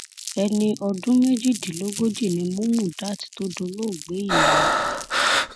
ẹni ọdún méjìdínlógójì ni múmùdát tó dolóògbé yìí